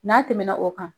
N'a tɛmɛna o kan